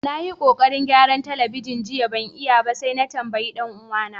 Na yi kokarin gyaran telibijin jiya ban iya ba sai na tambaye dan uwa na.